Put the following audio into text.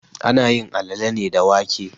Ana yin alale ne da wake.